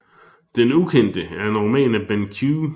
Den ukendte er en roman af Benn Q